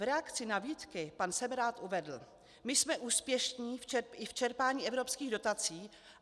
V reakci na výtky pan Semerád uvedl: My jsme úspěšní i v čerpání evropských dotací.